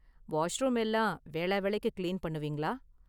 Washroom எல்லாம் வேளாவேளைக்கு clean பண்ணுவீங்களா?